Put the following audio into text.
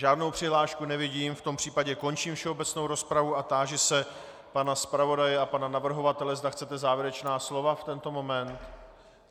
Žádnou přihlášku nevidím, v tom případě končím všeobecnou rozpravu a táži se pana zpravodaje a pana navrhovatele, zda chcete závěrečná slova v tento moment.